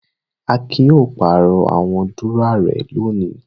Akin yóò pàrọ̀ àwọn dúrọ́à rẹ̀ lónìí.